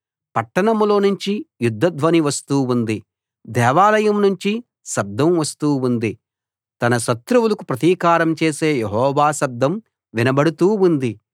పట్టణంలోనుంచి యుద్ధధ్వని వస్తూ ఉంది దేవాలయం నుంచి శబ్దం వస్తూ ఉంది తన శత్రువులకు ప్రతీకారం చేసే యెహోవా శబ్దం వినబడుతూ ఉంది